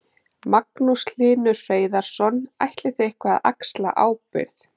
Magnús Hlynur Hreiðarsson: Ætlið þið eitthvað að axla ábyrgð?